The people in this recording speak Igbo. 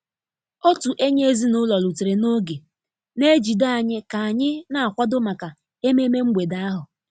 Otu enyi ezinụlọ rutere n'oge, na-ejide anyị ka anyị na-akwado maka ememe mgbede ahụ.